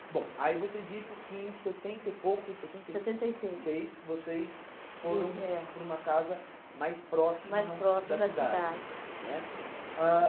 Bom, aí você disse que em setenta e pouco, setenta e... Setenta e seis, seis, vocês, sim é, foram para uma casa mais próxima da cidade. Mais próxima da cidade. Né